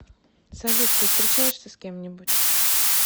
салют ты встречаешься с кем нибудь